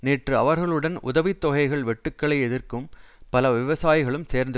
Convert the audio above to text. நேற்று அவர்களுடன் உதவி தொகைகள் வெட்டுக்களை எதிர்க்கும் பல விவசாயிகளும் சேர்ந்து